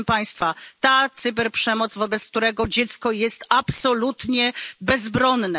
Proszę państwa, ta cyberprzemoc, wobec której dziecko jest absolutnie bezbronne.